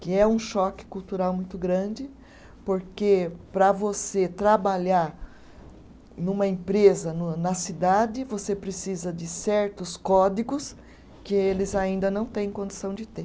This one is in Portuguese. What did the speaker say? Que é um choque cultural muito grande, porque para você trabalhar numa empresa numa na cidade, você precisa de certos códigos que eles ainda não têm condição de ter.